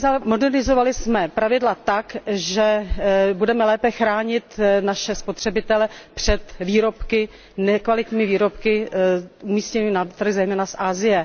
Modernizovali jsme pravidla tak, že budeme lépe chránit naše spotřebitele před nekvalitními výrobky umístěnými na trh zejména z Asie.